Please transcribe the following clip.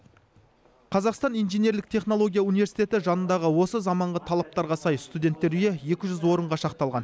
қазақстан инженерлік технология университеті жанындағы осы заманғы талаптарға сай студенттер үйі екі жүз орынға шақталған